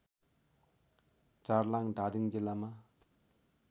झारलाङ धादिङ जिल्लामा